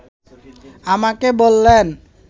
আমাকে বললেন